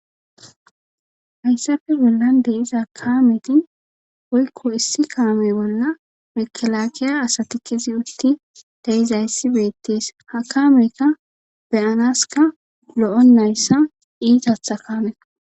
hayssafe zullan deiza kaametin woykko issi kaame bolla mekelaakiya asatikizi utti dayizayssi beettis ha kaamekka beyanaska lo7o nayssa iitatha kaameka